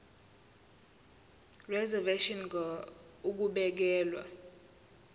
reservation ngur ukubekelwa